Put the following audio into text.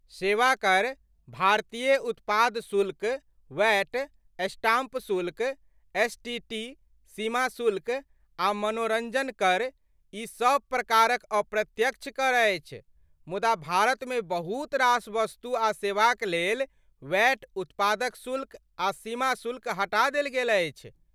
सेवा कर, भारतीय उत्पाद शुल्क, वैट, स्टाम्प शुल्क, एसटीटी, सीमा शुल्क, आ मनोरंजन कर, ई सभ प्रकारक अप्रत्यक्ष कर अछि, मुदा भारतमे बहुत रास वस्तु आ सेवाक लेल वैट, उत्पाद शुल्क, आ सीमा शुल्क हटा देल गेल अछि।